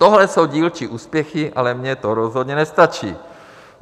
Tohle jsou dílčí úspěchy, ale mně to rozhodně nestačí.